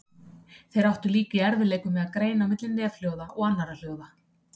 Þeir áttu líka í erfiðleikum með að greina á milli nefhljóða og annarra hljóða.